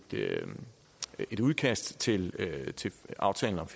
et udkast til aftalen om